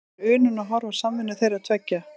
Það er unun að horfa á samvinnu þeirra tveggja.